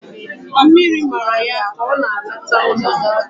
Mmiri mara ya ka o na-alata ulo